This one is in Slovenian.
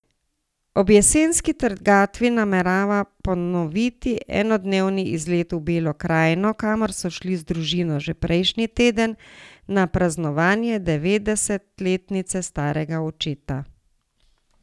Ob jesenski trgatvi namerava ponoviti enodnevni izlet v Belo krajino, kamor so šli z družino že prejšnji teden na praznovanje devetdesetletnice starega očeta.